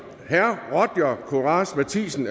roger courage matthisen